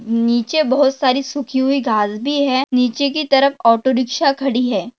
नीचे बहुत सारी सुखी हुई घास भी है। नीचे की तरफ ऑटो रिक्षा खड़ी है।